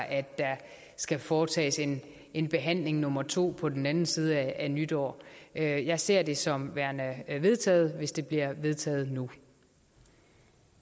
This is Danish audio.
at der skal foretages en en behandling nummer to på den anden side af nytår jeg jeg ser det som værende vedtaget hvis det bliver vedtaget nu